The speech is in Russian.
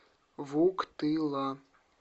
вуктыла